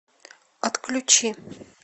отключи